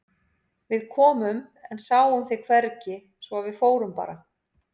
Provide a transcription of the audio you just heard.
Við komum en sáum þig hvergi svo að við fórum bara.